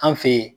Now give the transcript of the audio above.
An fe yen